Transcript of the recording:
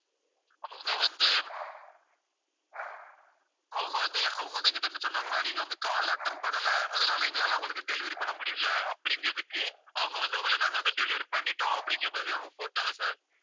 அவங்க வந்து, அவங்க வந்து அவங்க வந்து என்கிட்ட என்ன சொன்னாங்கன்னா நீங்க வந்து, call attend பண்ணல அதனால எங்களால அவங்களுக்கு delivery பண்ண முடியலை அப்படிங்கறதுக்கு அவங்க வந்து, உங்களை நாங்க வந்து, delivery பண்ணிட்டோம் அப்படிங்கிற மாரி அவங்க போட்டாங்க sir